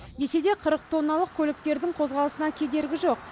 десе де қырық тонналық көліктердің қозғалысына кедергі жоқ